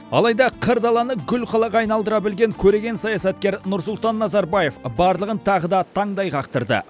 алайда қыр даланы гүл қалаға айналдыра білген көреген саясаткер нұрсұлтан назарбаев барлығын тағы да таңдай қақтырды